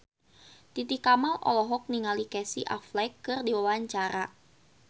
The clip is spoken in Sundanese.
Titi Kamal olohok ningali Casey Affleck keur diwawancara